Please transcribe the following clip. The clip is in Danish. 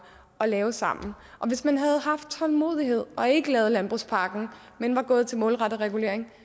og lave sammen og hvis man havde haft tålmodighed og ikke lavet landbrugspakken men var gået til målrettet regulering